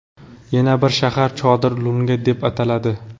Yana bir shahar Chodir Lunga deb ataladi.